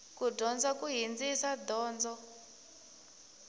ku dyondza ku hindzisa donzo